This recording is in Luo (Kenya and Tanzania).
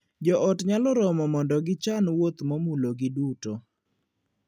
Joot nyalo romo mondo gichan wuoth momulogi duto.